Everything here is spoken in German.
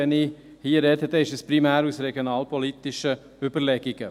Wenn ich hier spreche, ist es primär aus regionalpolitischen Überlegungen.